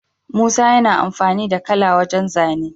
Musa yana amfani da kala wajan zane